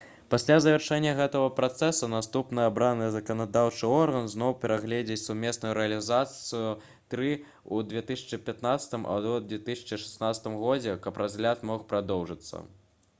пасля завяршэння гэтага працэсу наступны абраны заканадаўчы орган зноў перагледзіць сумесную рэзалюцыю-3 у 2015 або 2016 годзе каб разгляд мог прадоўжыцца